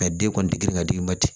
den kɔni ti girin ka d'i ma ten